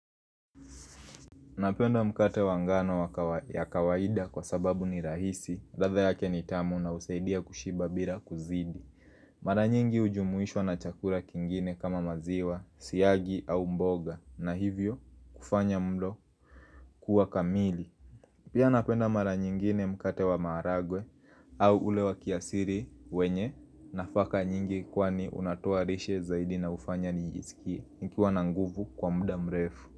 Napenda mkate wa ngano ya kawaida kwa sababu ni rahisi ladha yake ni tamu na husaidia kushiba bila kuzidi Mara nyingi hujumuishwa na chakura kingine kama maziwa, siagi au mboga na hivyo, kufanya mlo kuwa kamili Pia napenda mara nyingine mkate wa maharagwe au ule wa kiasiri wenye nafaka nyingi kwani unatoa rishe zaidi na hufanya niiskie nikiwa na nguvu kwa mda mrefu.